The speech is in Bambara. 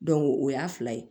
o y'a fila ye